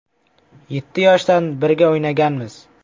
Yetti yoshdan birga o‘ynaganmiz.